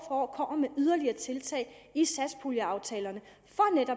år kommer med yderligere tiltag i satspuljeaftalerne